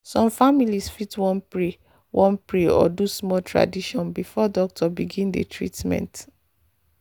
some families fit wan pray wan pray or do small tradition before doctor begin the treatment.